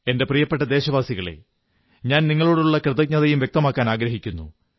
എന്റെ പ്രിയപ്പെട്ട ദേശവാസികളേ ഞാൻ നിങ്ങളോടുള്ള കൃതജ്ഞതയും വ്യക്തമാക്കാനാഗ്രഹിക്കുന്നു